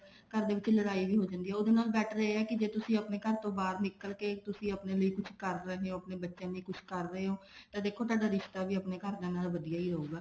ਘਰ ਦੇ ਵਿੱਚ ਲੜਾਈ ਵੀ ਹੋ ਜਾਂਦੀ ਆ ਉਹਦੇ ਨਾਲੋਂ better ਇਹ ਹੈ ਕੇ ਜੇ ਤੁਸੀਂ ਆਪਣੇ ਘਰ ਤੋਂ ਬਾਹਰ ਨਿੱਕਲ ਕੇ ਤੁਸੀਂ ਆਪਣੇ ਲਈ ਕੁਛ ਕਰ ਰਹੇ ਹੋ ਆਪਣੇ ਬੱਚਿਆਂ ਲਈ ਕੁੱਛ ਕਰ ਰਹੇ ਓ ਤਾਂ ਤੁਹਾਡਾ ਰਿਸ਼ਤਾ ਵੀ ਆਪਣੇ ਘਰਦਿਆਂ ਨਾਲ ਵਧੀਆ ਹੀ ਰਹੂਗਾ